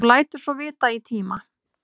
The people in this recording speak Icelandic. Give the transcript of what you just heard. Þú lætur svo vita í tíma.